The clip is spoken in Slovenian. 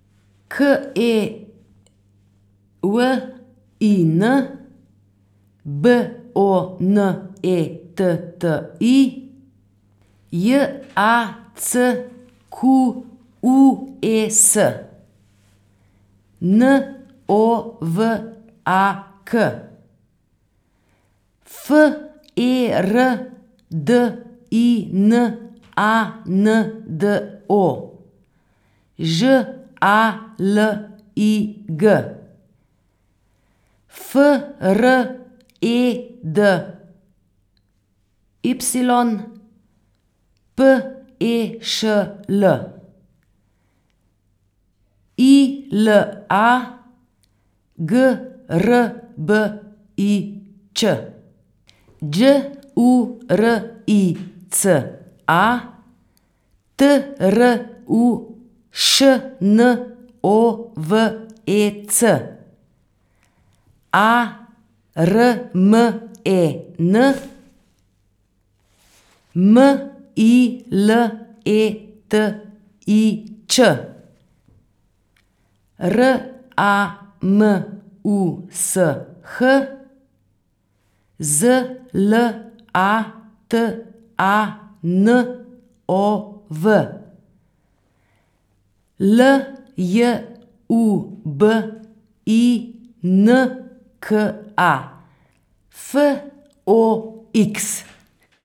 K E W I N, B O N E T T I; J A C Q U E S, N O V A K; F E R D I N A N D O, Ž A L I G; F R E D Y, P E Š L; I L A, G R B I Ć; Đ U R I C A, T R U Š N O V E C; A R M E N, M I L E T I Č; R A M U S H, Z L A T A N O V; L J U B I N K A, F O X.